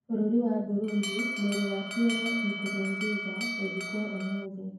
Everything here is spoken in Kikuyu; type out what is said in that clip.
Bũrũri wa Burundi: Mwĩrĩ wa Pierre Nkurunziza gũthikwo ũmũthĩ